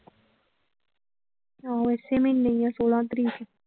ਆਹੋ ਇਸੇ ਮਹੀਨੇ ਹੀ ਆ ਛੋਲਾਂ ਤਰੀਕ ਨੂੰ।